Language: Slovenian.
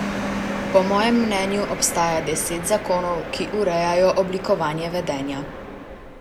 Po mojem mnenju obstaja deset zakonov, ki urejajo oblikovanje vedenja.